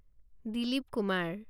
Dilip Kumar